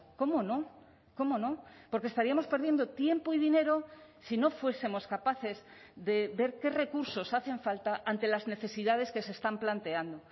cómo no cómo no porque estaríamos perdiendo tiempo y dinero si no fuesemos capaces de ver qué recursos hacen falta ante las necesidades que se están planteando